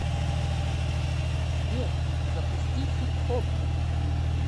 сбер запусти хипхоп